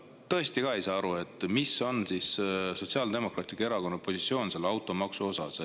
Ma ka tõesti ei saa aru, mis on Sotsiaaldemokraatliku Erakonna positsioon automaksu osas.